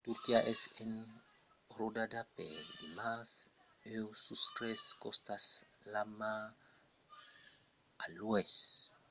turquia es enrodada per de mars sus sos tres costats: la mar egèa a l’oèst la mar negra al nòrd e la mar mediterranèa al sud